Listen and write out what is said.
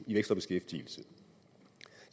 i vækst og beskæftigelse